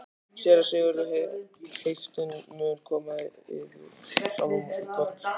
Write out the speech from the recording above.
SÉRA SIGURÐUR: Heiftin mun koma yður sjálfum í koll?